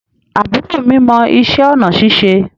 Àbúrò mi mọ ìṣe onà ṣíṣe